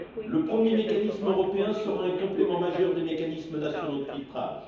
Le premier mécanisme européen sera un complément majeur des mécanismes nationaux de filtrage.